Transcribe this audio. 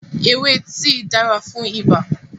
Ewé tíì dára fún ibà